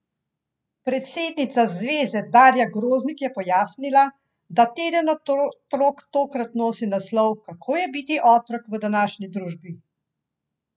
Predsednica zveze Darja Groznik je pojasnila, da teden otrok tokrat nosi naslov Kako je biti otrok v današnji družbi?